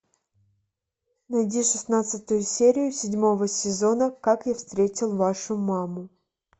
найди шестнадцатую серию седьмого сезона как я встретил вашу маму